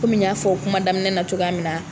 n y'a fɔ kuma daminɛ na cogoya min na